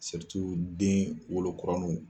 den wolo kuraniw